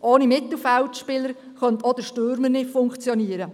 Ohne Mittelfeldspieler kann auch der Stürmer nicht funktionieren.